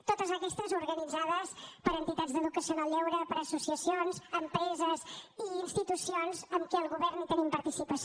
totes aquestes activitats organitzades per entitats d’educació en el lleure per associacions empreses i institucions en què el govern tenim participació